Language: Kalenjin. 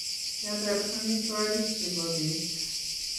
kiatar amitwogik chebo beet